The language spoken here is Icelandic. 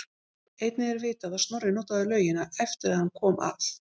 Einnig er vitað að Snorri notaði laugina eftir að hann kom að